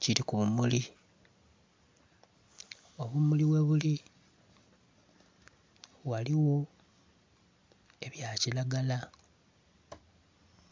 kiri kubumuli obumuli ghebuli ghaligho ebya kiragala